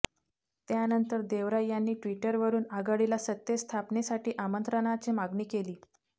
त्यानंतर देवरा यांनी ट्विटरवरून आघाडीला सत्ता स्थापनेसाठी आमंत्रणाची मागणी केली